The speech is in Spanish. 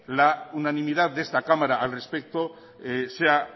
la unanimidad de esta cámara al respecto sea